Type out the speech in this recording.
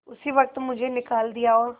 उसी वक्त मुझे निकाल दिया और